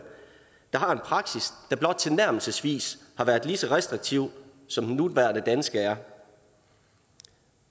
der har en praksis der blot tilnærmelsesvis har været lige så restriktiv som den nuværende danske er